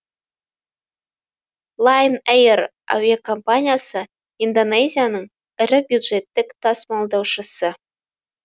лайнэйр әуе компаниясы индонезияның ірі бюджеттік тасымалдаушысы